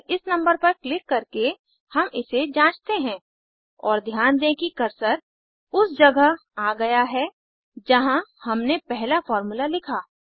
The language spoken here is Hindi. केवल इस नंबर पर क्लिक करके हम इसे जांचते हैं और ध्यान दें कि कर्सर उस जगह आ गया है जहाँ हमने पहला फार्मूला लिखा